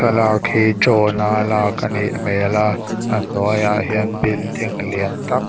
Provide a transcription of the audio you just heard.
thlalak hi drone a lak anih hmel a a hnuai ah hian building lian tâk--